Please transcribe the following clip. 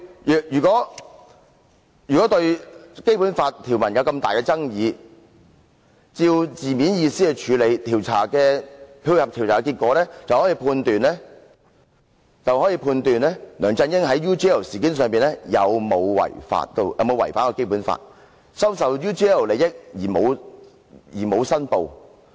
若非對《基本法》條文有重大爭議，按照字面意思來處理，配合調查結果，便可判斷梁振英在 UGL 事件中有沒有違反《基本法》，收受 UGL 利益但未有申報。